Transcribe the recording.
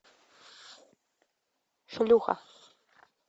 шлюха